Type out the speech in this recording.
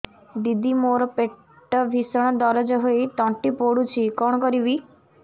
ଦିଦି ମୋର ପେଟ ଭୀଷଣ ଦରଜ ହୋଇ ତଣ୍ଟି ପୋଡୁଛି କଣ କରିବି